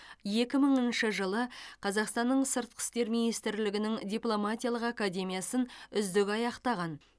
екі мыңыншы жылы қазақстанның сыртқы істер министрлігінің дипломатиялық академиясын үздік аяқтаған